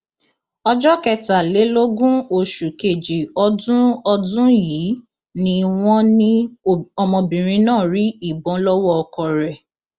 ọjọ kẹtàlélógún oṣù kejì ọdún ọdún yìí ni wọn ní ọmọbìnrin náà rí ìbọn lọwọ ọkọ rẹ